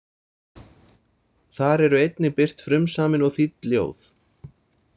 Þar eru einnig birt frumsamin og þýdd ljóð.